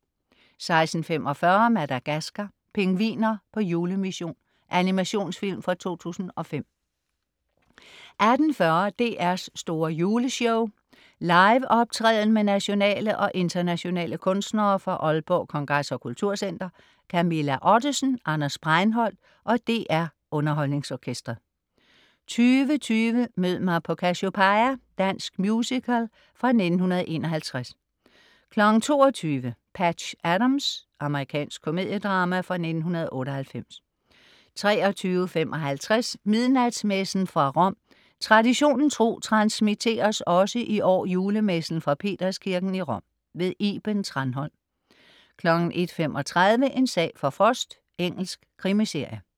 16.45 Madagascar: Pingviner på julemission. Animationsfilm fra 2005 18.40 DR's store juleshow. Liveoptræden med nationale og internationale kunstnere fra Aalborg Kongres og Kultur Center. Camilla Ottesen, Anders Breinholt og DR UnderholdningsOrkestret 20.20 Mød mig på Cassiopeia. Dansk musical fra 1951 22.00 Patch Adams. Amerikansk komediedrama fra 1998 23.55 Midnatsmessen fra Rom. Traditionen tro transmitteres også i år julemessen fra Peterskirken i Rom. Iben Thranholm 01.35 En sag for Frost. Engelsk krimiserie